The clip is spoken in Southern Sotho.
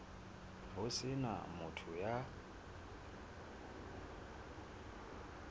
ho se na motho ya